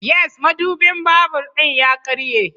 Yes, madubin babur ɗin ya karye